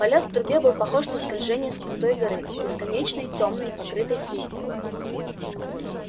полёт в трубе был похож на скольжение с крутой горы бесконечной тёмной покрытой слизи